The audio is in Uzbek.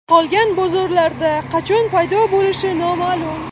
Qolgan bozorlarda qachon paydo bo‘lishi noma’lum.